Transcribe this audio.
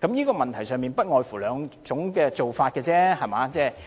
在這問題上，其實不外乎兩種做法：